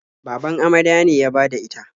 Baban amarya ne ya bada ita.